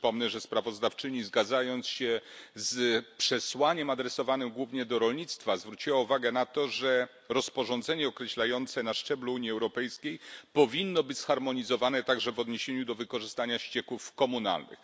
Przypomnę, że sprawozdawczyni, zgadzając się z przesłaniem adresowanym głównie do rolnictwa, zwróciła uwagę na to, że rozporządzenie określające na szczeblu Unii Europejskiej powinno być zharmonizowane także w odniesieniu do wykorzystania ścieków komunalnych.